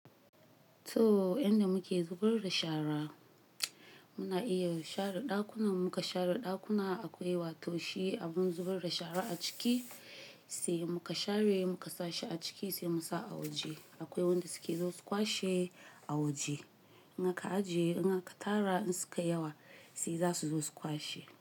To yanda muke zubar da shara, muna iya share ɗakuna in muka share ɗakuna akwai wato shi abun zubar da shara a ciki sai muka share muka sashi a ciki sai Musa a waje. Akwai wanda suke zuwa su kwashe a waje. In aka ajiye in aka tara in sukayi yawa sai za su zo su kwashe.